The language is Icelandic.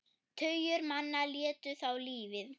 Tugir manna létu þá lífið.